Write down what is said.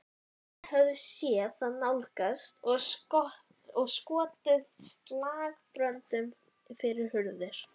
Menn höfðu séð þá nálgast og skotið slagbröndum fyrir hurðir.